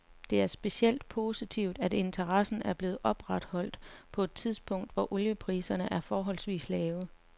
Det er specielt positivt, at interessen er blevet opretholdt på et tidspunkt, hvor oliepriserne er forholdsvis lave.